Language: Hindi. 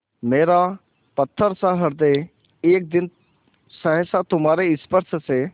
मेरा पत्थरसा हृदय एक दिन सहसा तुम्हारे स्पर्श से